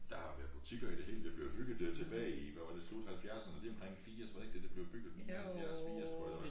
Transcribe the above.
Der har været butikker i det hele det blev bygget der tilbage i hvad var det slut halvfjerserne lige omkring firs var det ikke der det blev bygget 79 80 tror jeg det var